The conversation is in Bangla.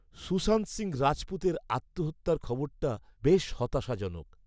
সুশান্ত সিংহ রাজপুতের আত্মহত্যার খবরটা বেশ হতাশাজনক।